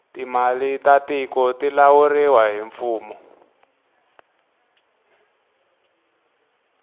timali ta tiku ti lawuriwa hi mfumo